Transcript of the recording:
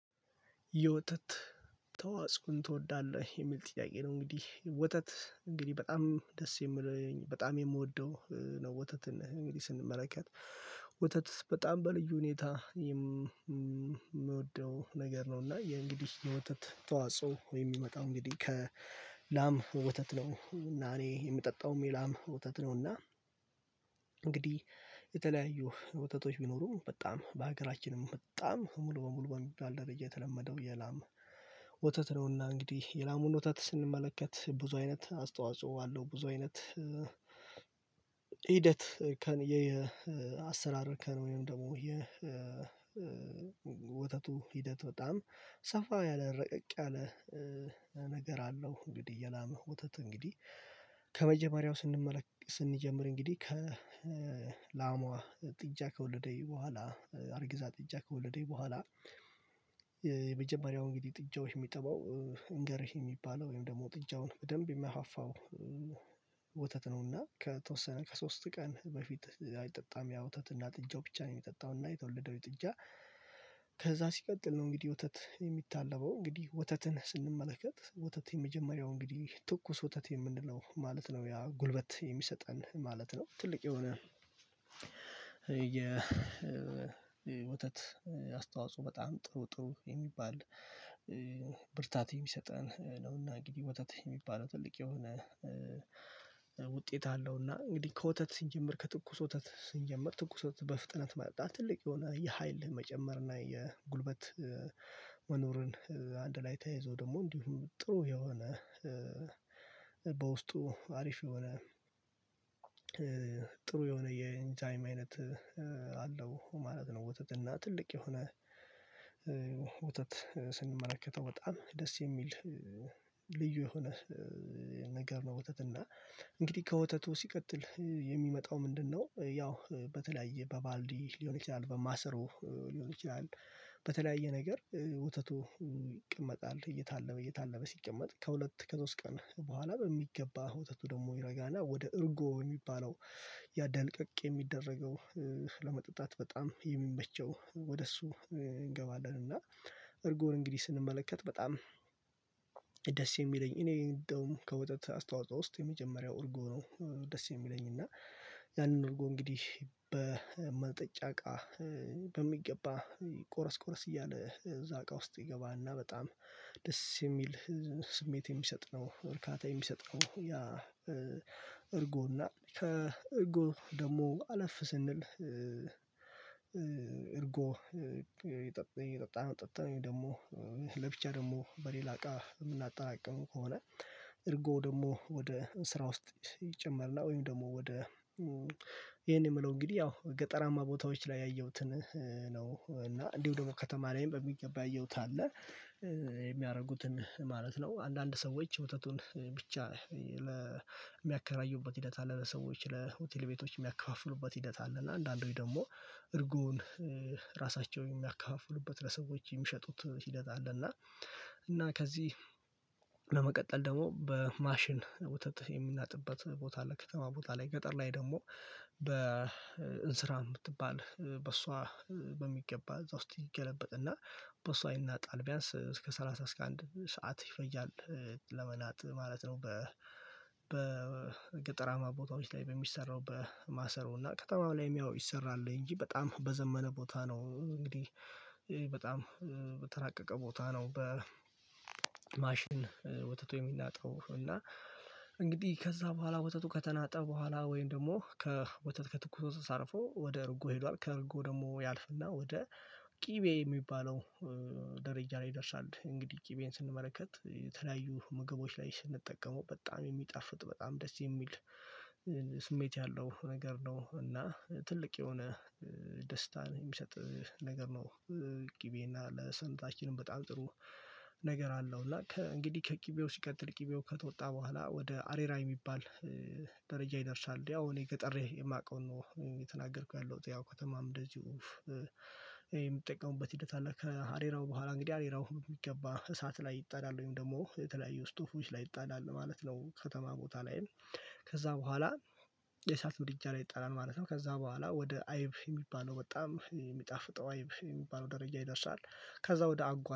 የወተት ተዋፅኦን ትወዳለህ የሚል ጥያቄ ነው? እንግዲህ ወተት እንግዲህ በጣም ደስ የሚለኝ በጣም የምወደው ነው። ወተትን እንግዲህ ስንመለከት ወተት በጣም በልዩ ሁኔታ የምወደው ነገር ነው። እና የእንግዲህ የወተት ተዋጽኦ ወይም የሚመጣው እንግዲህ ከላም ወተት ነው እና እኔ የምጠጣው የላም ወተት ነው። እና እንግዲህ የተለያዩ ወተቶች ቢኖሩም በጣም በሀገራችንም በጣም ሙሉ በሙሉ በሚባል ደረጃ የተለመደው የላም ወተት ነው። እና እንግዲህ የላሙን ወተት ስንመለከት ብዙ አይነት አስተዋጽኦ አለው። ብዙ አይነት ሂደት ከአሰራር እርከን ወይም ደግሞ የ ወተቱ ሂደት በጣም ሰፋ ያለ ረቀቅ ያለ ነገር አለው። እንግዲህ የላም ወተት እንግዲህ ከመጀመሪያው ስንመለከ ስንጀምር እንግዲህ ከላሟ ጥጃ ከወለደይ በኋላ አርግዛ ጥጃ ከወለደይ በኋላ። የመጀመሪያው እንግዲህ ጥጃዎች የሚጠባው እንገርህ የሚባለው ወይም ደግሞ ጥጃውን በደንብ የሚያፋፋው። ወተት ነውና ከተወሰነ ከሶስት ቀን በፊት አይጠጣም ያው ወተት እና ጥጃው ብቻ ነው የሚጠጣው። እና የተወለደው ጥጃ ከዛ ሲቀጥል ነው እንግዲህ ወተት የሚታለበው እንግዲህ ወተትን ስንመለከት ወተት የመጀመሪያው እንግዲህ ትኩስ ወተት የምንለው ማለት ነው ያ ጉልበት የሚሰጠን ማለት ነው። ትልቅ የሆነ የ ወተት አስተዋጽኦ በጣም ጥሩ ጥሩ የሚባል ብርታት የሚሰጠን ነው። እና እንግዲህ ወተት የሚባለው ትልቅ የሆነ ውጤት አለው። እና እንግዲህ ከወተት ሲጀመር ከትኩስ ወተት ስንጀመር ትኩስ ወተት በፍጥነት መጠጣት ትልቅ የሆነ የሀይል መጨመር እና የጉልበት መኖርን አንድ ላይ ተያይዞ ደግሞ እንዲሁ ጥሩ የሆነ በውስጡ አሪፍ የሆነ ጥሩ የሆነ የኢንዛይም አይነት አለው ማለት ነው። ወተት እና ትልቅ የሆነ ወተት ስንመለከተው በጣም ደስ የሚል ልዩ የሆነ ነገር ነው። ወተት እና እንግዲህ ከወተቱ ሲቀጥል የሚመጣው ምንድነው? ያው በተለያየ በባልዲ ሊሆን ይችላል በማሰሮ ሊሆን ይችላል። በተለያየ ነገር ወተቱ ይቀመጣል እየታለበ እየታለበ ሲቀመጥ ከሁለት ከሶስት ቀን በኋላ በሚገባ ወተቱ ደግሞ ይረጋና ወደ እርጎ የሚባለው ያ ደልቀቅ የሚደረገው ለመጠጣት በጣም የሚመቸው ወደ እሱ እንገባለን። እና እርጎን እንግዲህ ስንመለከት በጣም ደስ የሚለኝ እኔ እንደውም ከወተት አስተዋጽኦ ውስጥ የመጀመሪያው እርጎ ነው። ደስ የሚለኝ እና ያንን እርጎ እንግዲህ በመጠጫ እቃ በሚገባ ቆረስ ቆረስ እያለ እዛ እቃ ውስጥ ይገባ እና በጣም ደስ የሚል ስሜት የሚሰጥ ነው። እርካታ የሚሰጥ ነው። ያ እርጎ እና ከእርጎ ደግሞ አለፍ ስንል። እርጎ የጠጣነው ጠጥተን ወይም ደግሞ ለብቻ ደግሞ በሌላ እቃ የምናጠራቅመው ከሆነ። እርጎ ደግሞ ወደ ስራ ውስጥ ይጨመር እና ወይም ደግሞ ወደ ይሄን የምለው እንግዲህ ያው ገጠራማ ቦታዎች ላይ ያየሁትን ነው። እና እንዲሁ ደግሞ ከተማ ላይም በሚገባ ያየሁት አለ የሚያደርጉትን ማለት ነው። አንዳንድ ሰዎች ወተቱን ብቻ የሚያከራዩበት ሂደት አለ። ለሰዎች ለሆቴል ቤቶች የሚያከፋፍሉበት ሂደት አለ። እና አንዳንዶች ደግሞ እርጎውን ራሳቸውም የሚያከፋፍሉበት ለሰዎች የሚሸጡት ሂደት አለ። እና እና ከዚህ ለመቀጠል ደግሞ በማሽን ወተት የሚናጥበት ቦታ ላይ ከተማ ቦታ ላይ ገጠር ላይ ደግሞ በእንስራ የምትባል በሷ በሚገባ እዛ ውስጥ ይገለበጥና በሷ ይናጣል ቢያንስ እስከ ሰላሳ እስከ አንድ ሰዓት ይፈጃል። ለመናጥ ማለት ነው። በገጠራማ ቦታዎች ላይ በሚሰራው በማሰሮ እና ከተማም ላይ ያው ይሰራል እንጂ በጣም በዘመነ ቦታ ነው። እንግዲህ በጣም በተራቀቀ ቦታ ነው። በማሽን ወተቱ የሚናጠው እና እንግዲህ ከዛ በኋላ ወተቱ ከተናጠ በኋላ ወይም ደግሞ ከወተት ከትኩስ አልፎ ወደ እርጎ ሄዷል። ከእርጎ ደግሞ ያልፍና ወደ ቅቤ የሚባለው ደረጃ ላይ ይደርሳል። እንግዲህ ቅቤን ስንመለከት የተለያዩ ምግቦች ላይ ስንጠቀመው በጣም የሚጣፍጥ በጣም ደስ የሚል ስሜት ያለው ነገር ነው። እና ትልቅ የሆነ ደስታን የሚሰጥ ነገር ነው። ቅቤ እና ለሰውነታችንም በጣም ጥሩ ነገር አለው። እና እንግዲህ ከቅቤው ሲቀጥል ቅቤው ከተወጣ በኋላ ወደ አሬራ የሚባል ደረጃ ይደርሳል። ያው እኔ ገጠር የማውቀውን ነው እየተናገርኩት ያለሁት ያው ከተማም እንደዚሁ የሚጠቀሙበት ሂደት አለ። ከአሬራው በኋላ እንግዲህ አሬራው የሚገባ እሳት ላይ ይጣዳል ወይም ደግሞ የተለያዩ ስቶቮች ላይ ይጣዳል ማለት ነው። ከተማ ቦታ ላይ ከዛ በኋላ የእሳት ምድጃ ላይ ይጣላል ማለት ነው። ከዛ በኋላ ወደ አይብ የሚባለው በጣም የሚጣፍጠው አይብ የሚባለው ደረጃ ይደርሳል። ከዛ ወደ አጓት